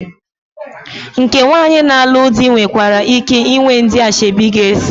Nke nwaanyị na-alụ di nwekwara ike ịnwe ndị ashebi ga-eso ya.